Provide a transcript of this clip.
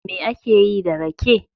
Me ake yi da rake?